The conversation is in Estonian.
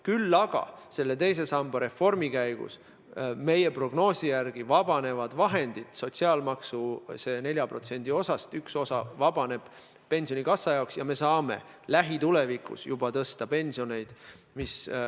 Küll aga teise samba reformi käigus meie prognoosi järgi vahendid vabanevad, sotsiaalmaksu 4%-st üks osa vabaneb pensionikassa jaoks ja me saame juba lähitulevikus pensioneid tõsta.